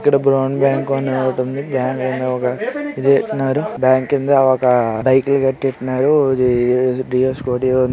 ఇక్కడ ఒక బ్యాంక్ కనబడుతుంది. బ్యాంక్ కింద ఒక బేకరీ కట్టేస్తున్నారు.